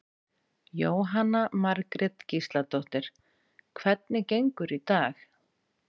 Jóhanna Margrét Gísladóttir: Hvernig gengur í dag?